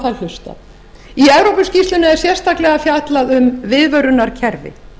í evrópuskýrslunni er sérstaklega fjallað um viðvörunarkerfi